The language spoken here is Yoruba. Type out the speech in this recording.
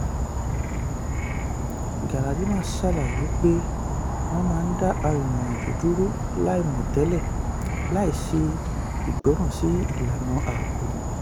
galadima ṣàlàyé pé wọ́n máa ń dá arìnrìn-àjò dúró láìmọ̀ tẹ́lẹ̀ láìṣe ìgbọràn sí ìlànà ààbò.